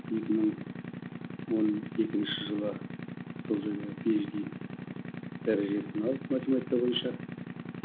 екі мың он екінші жылы сол жерде пи ейч ди дәрежесін алып математика бойынша